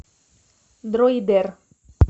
дроидер